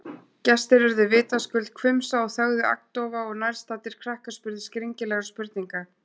Gestir urðu vitaskuld hvumsa og þögðu agndofa- og nærstaddir krakkar spurðu skringilegra spurninga.